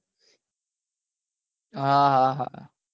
હા હા હા